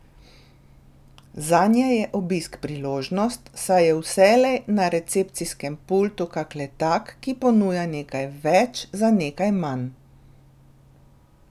Zanje je obisk priložnost, saj je vselej na recepcijskem pultu kak letak, ki ponuja nekaj več za nekaj manj.